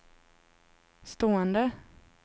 stående